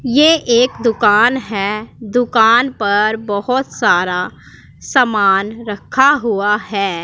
ये एक दुकान है दुकान पर बहोत सारा समान रखा हुआ है।